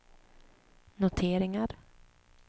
noteringar